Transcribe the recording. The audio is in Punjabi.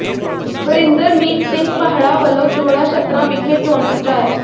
ਬਰਿੰਦਰਮੀਤ ਸਿੰਘ ਪਾਹੜਾ ਵੱਲੋਂ ਜੌੜਾ ਛੱਤਰਾਂ ਵਿਖੇ ਚੋਣ ਪ੍ਰਚਾਰ